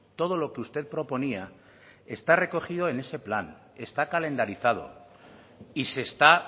todo lo que usted proponía está recogido en este plan está calendarizado y se está